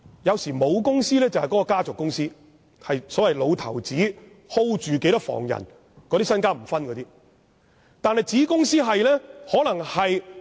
有時候，母公司是家族公司，例如一位老頭子有若干房人，他是不會分配財產的。